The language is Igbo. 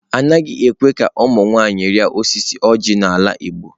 Anaghị ekwe ka ụmụ nwanyị rịa osisi oji n'ala igbo.